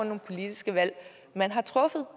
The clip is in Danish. nogle politiske valg man har truffet